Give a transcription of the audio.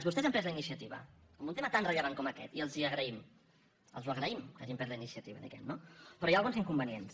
vostès han pres la iniciativa en un tema tan rellevant com aquest i els ho agraïm els ho agraïm que ha·gin pres la iniciativa diguem·ne no però hi ha alguns inconvenients